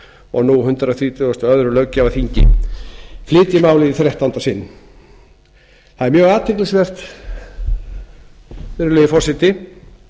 og nú hundrað þrjátíu og tvö löggjafarþingi flyt ég málið í þrettánda sinn það er mjög athyglisvert virðulegi forseti